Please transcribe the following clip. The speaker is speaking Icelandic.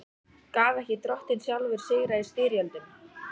Gaf ekki Drottinn sjálfur sigra í styrjöldum?